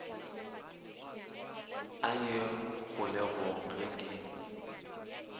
a ye kgolegong ge ke